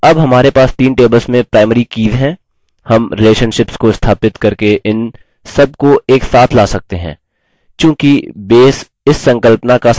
अब हमारे पास तीन tables में primary कीज़ हैं हम relationships को स्थापित करके इन सबको एक साथ now सकते हैं